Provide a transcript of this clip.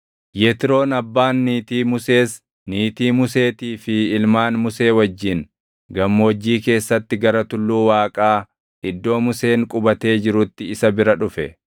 Yetroon abbaan niitii Musees niitii Museetii fi ilmaan Musee wajjin gammoojjii keessatti gara tulluu Waaqaa iddoo Museen qubatee jirutti isa bira dhufe.